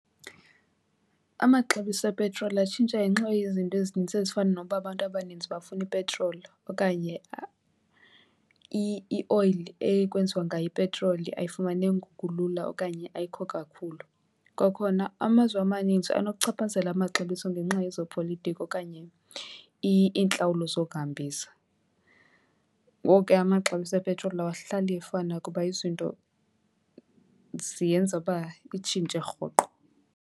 Amaxabiso epetroli atshintsha ngenxa yezinto ezininzi ezifana nokuba abantu abaninzi bafuna ipetroli okanye ioyili ekwenziwa ngayo ipetroli ayifumaneki ngokulula okanye ayikho kakhulu. Kwakhona amazwe amaninzi anokuchaphazela amaxabiso ngenxa yezopolitiko okanye iintlawulo zokuhambisa. Ngoku ke amaxabiso epetroli awahlali efana kuba izinto ziyenza uba itshintshe rhoqo.